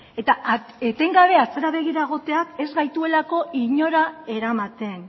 eta etengabe atzera begira egoteak ez gaituelako inora eramaten